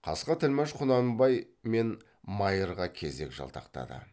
қасқа тілмәш құнанбай мен майырға кезек жалтақтады